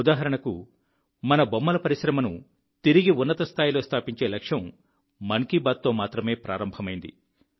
ఉదాహరణకు మన బొమ్మల పరిశ్రమను తిరిగి ఉన్నత స్థాయిలో స్థాపించే లక్ష్యం మన్ కీ బాత్తో మాత్రమే ప్రారంభమైంది